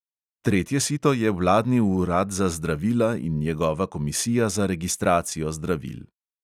Tretje sito je vladni urad za zdravila in njegova komisija za registracijo zdravil.